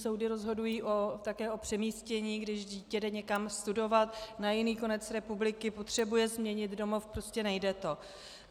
Soudy rozhodují také o přemístění, když dítě jde někam studovat na jiný konec republiky, potřebuje změnit domov, prostě nejde to.